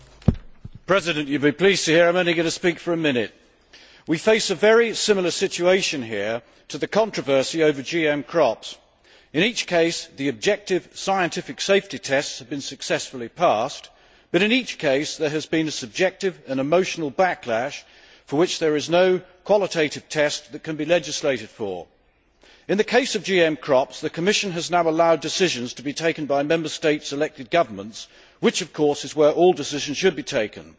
Mr President, you will be pleased to hear that I am only going to speak for a minute. We face a very similar situation here to the controversy over GM crops. In each case, the objective scientific safety tests have been successfully passed, but in each case, there has been a subjective and emotional backlash that no qualitative test can legislate for. In the case of GM crops, the Commission has now allowed decisions to be taken by Member States' elected governments, which, of course, is where all decisions should be taken.